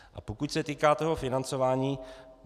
A pokud se týká toho financování.